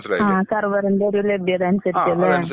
ആ സെർവറിന്റെ ഒരു ലഭ്യത അനുസരിച്ച് ല്ലേ?.